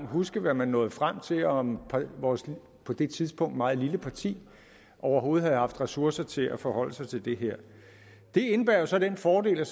huske hvad man nåede frem til og om vores på det tidspunkt meget lille parti overhovedet havde haft ressourcer til at forholde sig til det her det indebærer jo så den fordel at